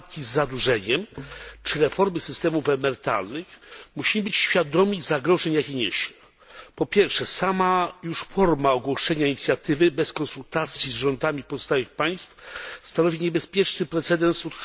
walki z zadłużeniem czy reformy systemów emerytalnych, musimy być świadomi zagrożeń, jakie on niesie. Po pierwsze sama już forma ogłoszenia inicjatywy bez konsultacji z rządami pozostałych państw stanowi niebezpieczny precedens